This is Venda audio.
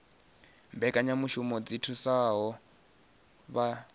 mbekanyamushumo dzi thusaho vha dzhenaho